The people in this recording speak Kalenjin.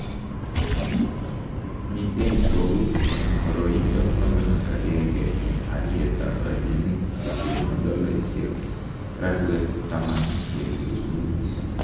Miten Bowie en boroyindo 11 en alyet ab rabinik cheteno dolaisiek rarwet 10.5